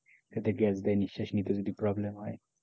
যাতে গ্যাস দিয়ে নিশ্বাস নিতে যদি problem হয়,